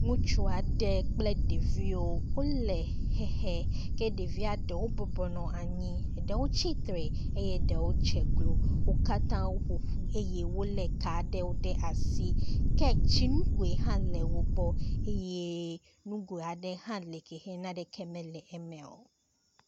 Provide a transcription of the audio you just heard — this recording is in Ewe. Ŋutsu aɖe kple ɖeviwo wo le xexe ke ɖevia eɖwo bɔbɔnɔ anyi eɖewo tsi tre eye eɖewo dze klo. Wo katã woƒoƒu eye wole ka ɖewo ɖe asi ke tsinugoe hã le wo gbɔ eye nugoe aɖe hã li yike naneke mele eme o.